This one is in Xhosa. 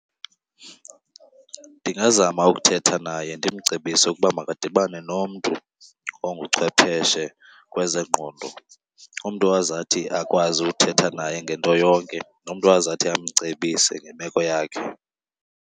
Ndingazama ukuthetha naye ndimcebise ukuba makadibane nomntu onguchwepheshe kwezengqondo, umntu ozathi akwazi ukuthetha naye ngento yonke nomntu azathi amcebise ngemeko yakhe.